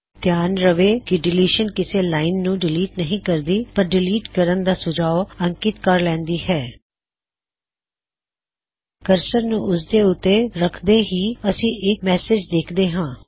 ਧਿਆਨ ਦੇਵੋ ਕੀ ਡਿਲੀਸ਼ਨ ਕਿਸੇ ਲਾਇਨ ਨੂੰ ਡਿਲੀਟ ਨਹੀ ਕਰਦੀ ਪਰ ਢਿਲੀਟ ਕਰਣ ਦਾ ਸੁਝਾਉ ਅੰਕਿਤ ਕਰ ਲੈਉੰਦੀ ਹੈ ਕਰਸਰ ਨੂੰ ਉਸਦੇ ਉੱਤੇ ਰਖਦੇ ਹੀ ਅਸੀ ਇਕ ਸੰਦੇਸ਼ ਵੇਖਦੇ ਹਾਂ